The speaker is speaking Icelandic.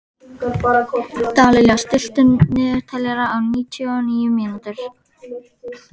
Ernst, spilaðu tónlist.